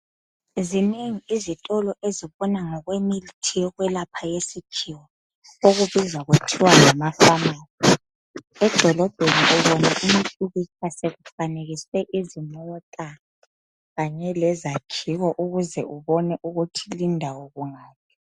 Zinengi izitolo ezibona ngokwemithi yokwelapha eyesikhiwa okubizwa kuthiwa ngamafamasi edolobheni kuyabe sokufanekiswe izimota kanye lezakhiwo ukuze ubone ukuthi lindawo kungaphi.